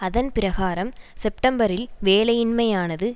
அதன் பிரகாரம் செப்டம்பரில் வேலையின்மையானது